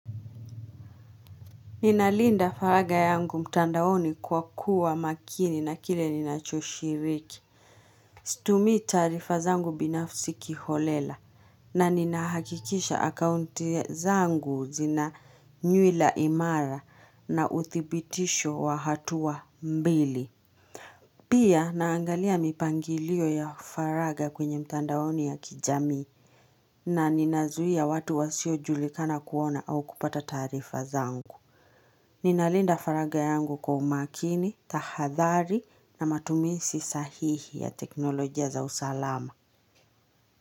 Ninalinda faraga yangu mtandaoni kwa kuwa makini na kile ninachoshiriki. Situmii taarifa zangu binafsi kiholela na ninahakikisha akaunti zangu zina nywila imara na uthibitisho wa hatua mbili. Pia naangalia mipangilio ya faraga kwenye mtandaoni ya kijamii na ninazuia watu wasiojulikana kuona au kupata taarifa zangu. Ninalinda faraga yangu kwa umakini, tahadhari na matumizi sahihi ya teknolojia za usalama.